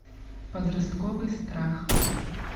подростковый страх